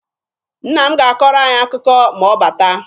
Nna m ga-akọrọ anyị akụkọ ma ọ bata.